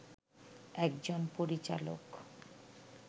একজন পরিচালক